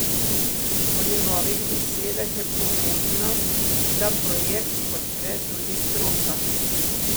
Po njegovih besedah je pomembno, da projekt podpre tudi stroka.